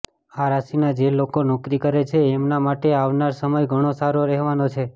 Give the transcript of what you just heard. આ રાશિના જે લોકો નોકરી કરે છે એમના માટે આવનાર સમય ઘણો સારો રહેવાનો છે